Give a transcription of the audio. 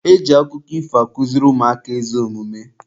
E ji akụkọ ifo akụziri ụmụaka ezi omume.